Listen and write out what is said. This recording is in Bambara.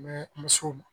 Mɛ musow